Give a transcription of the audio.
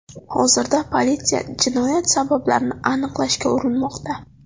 Hozirda politsiya jinoyat sabablarini aniqlashga urinmoqda.